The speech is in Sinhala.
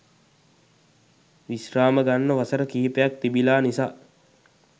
විශ්‍රාම ගන්න වසර කිහිපයක් තිබිලා නිසා